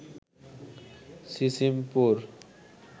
Sisimpur